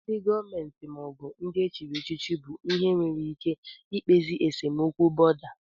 Ndị gọọmenti maọbụ ndị e chiri echichi bụ ihe nwere ike ikpezi esemokwu bọ̀da